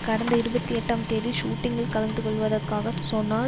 கடந்த இருபத்தி எட்டாம் தேதி ஷூட்டிங்கில் கலந்துகொள்வதக்காக சொன்னார்